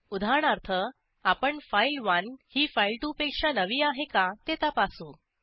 उदाहरणार्थ आपण फाइल1 ही फाइल2 पेक्षा नवी आहे का ते तपासू